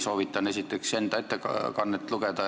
Soovitan esiteks minu ettekannet lugeda.